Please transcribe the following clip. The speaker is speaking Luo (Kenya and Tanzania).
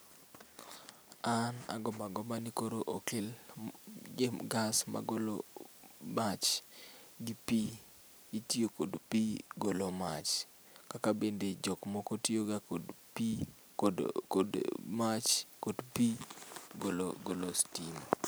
An agombo agomba ni koro okel gas magolo mach gi pii itiyo kod pii golo mach kaka bende jok moko tiyo ga kod pii, kod mach ,kod pii golo stima